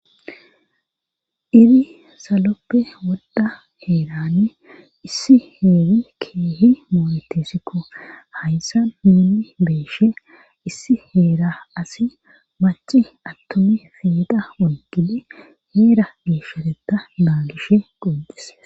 iri saloppe wodda heerane issi heeri keehi mooletesikko hayssa muuni beeshe issi heera asi maci attomi feeda ongidi heera geeshshareta baagishe qodis